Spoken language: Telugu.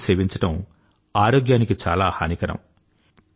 తంబాకుని సేవించడం ఆరోగ్యానికి చాలా హానికరం